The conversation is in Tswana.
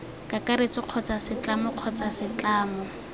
kakaretso kgotsa setlamo kgotsa setlamo